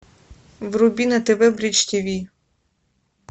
вруби на тв бридж тв